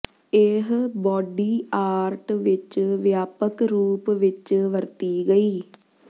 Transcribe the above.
ਇਹ body art ਵਿਚ ਵਿਆਪਕ ਰੂਪ ਵਿਚ ਵਰਤੀ ਗਈ